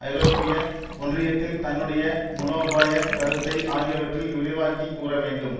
ஐரோப்பிய ஒன்றியத்தில் தன்னுடைய மூலோபாய கருத்தை ஆகியவற்றில் விரிவாக்கிக் கூற வேண்டும்